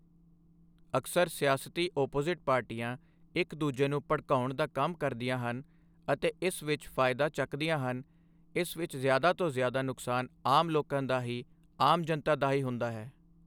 ਅਕਸਰ ਸਿਆਸਤੀ ਓਪੋਜ਼ਿਟ ਪਾਰਟੀਆਂ ਇੱਕ ਦੂਜੇ ਨੂੰ ਭੜਕਾਉਣ ਦਾ ਕੰਮ ਕਰਦੀਆਂ ਹਨ ਅਤੇ ਇਸ ਵਿੱਚ ਫਾਇਦਾ ਚੱਕਦੀਆਂ ਹਨ ਇਸ ਵਿੱਚ ਜ਼ਿਆਦਾ ਤੋਂ ਜ਼ਿਆਦਾ ਨੁਕਸਾਨ ਆਮ ਲੋਕਾਂ ਦਾ ਹੀ ਆਮ ਜਨਤਾ ਦਾ ਹੀ ਹੁੰਦਾ ਹੈ